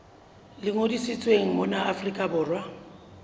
le ngodisitsweng mona afrika borwa